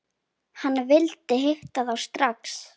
Hann vildi hitta þá strax.